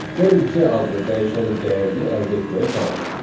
Gəlin C adlı dəyişənin dəyərini əldə etməyə çalışaq.